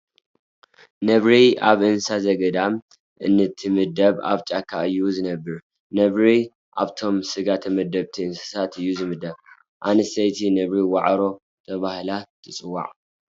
ነብሪ ኣብ እንስሳ ዘገዳም እንትምደብ ኣብ ጫካ እዩ ዝነብር። ነብሪ ኣብቶም ስጋ ተመገብቲ እንስሳት እዩ ዝምደብ። ኣንስተይቲ ነብሪ ዋዕሮ ተባሂላ ትፅዋዕ።